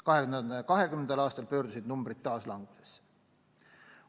2020. aastal pöördusid numbrid taas langusesse.